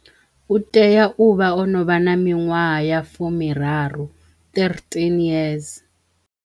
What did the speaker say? U teya u vha o no vha na miṅwaha ya fumiraru, thirteen years.